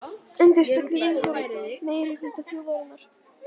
Endurspegli viðhorf meirihluta þjóðarinnar